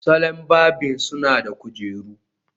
Salon barbing suna da kujeru